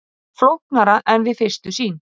Flóknara en við fyrstu sýn